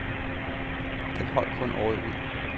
Den holdt kun året ud.